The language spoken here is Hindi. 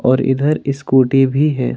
और इधर स्कूटी भी है।